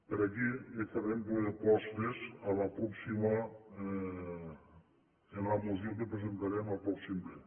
per aquí li farem propos·tes en la moció que presentarem al pròxim ple